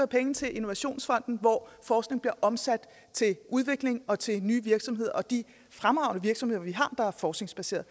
penge til innovationsfonden hvor forskning bliver omsat til udvikling og til nye virksomheder de fremragende virksomheder vi har der er forskningsbaserede